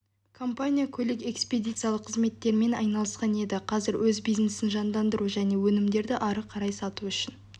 компания көлік-экспедициялық қызметтермен айналысқан еді қазір өз бизнесін жандандыру және өнімдерді ары қарай сату үшін